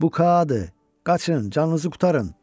Bu Kaa idi, qaçın, canınızı qurtarın!